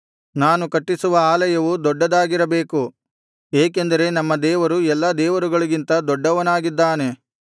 ನಾನು ಕಟ್ಟಿಸುವ ಆಲಯವೂ ದೊಡ್ಡದಾಗಿರಬೇಕು ಏಕೆಂದರೆ ನಮ್ಮ ದೇವರು ಎಲ್ಲಾ ದೇವರುಗಳಿಗಿಂತ ದೊಡ್ಡವನಾಗಿದ್ದಾನೆ